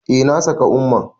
Eh, na saka umma